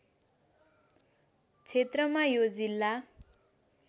क्षेत्रमा यो जिल्ला